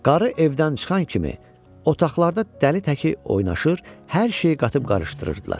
Qarı evdən çıxan kimi otaqlarda dəli təki oynaşır, hər şey qatıb qarışdırırdılar.